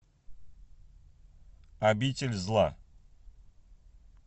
обитель зла